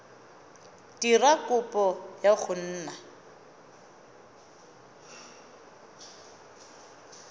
dira kopo ya go nna